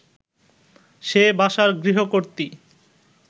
সে বাসার গৃহকর্ত্রী